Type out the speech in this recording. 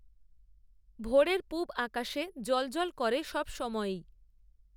ভোরের পুবআকাশে জ্বল জ্বল করে সব সময়েই